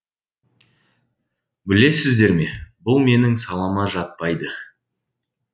білесіздер ме бұл менің салама жатпайды